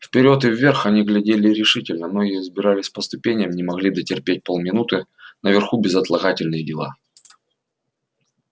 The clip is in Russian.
вперёд и вверх они глядели решительно многие взбирались по ступеням не могли дотерпеть полминуты наверху безотлагательные дела